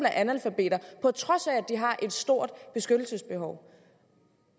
er analfabeter på trods af at de har et stort beskyttelsesbehov